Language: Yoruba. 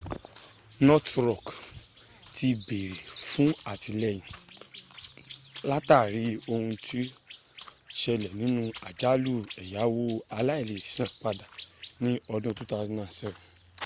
northen rock ti béèrè fún àtìlẹyìn látàrí ohun tó ṣẹlẹ̀ nínú àjálù ẹ̀yáwo aláìleèsanpadà ní ọdún 2007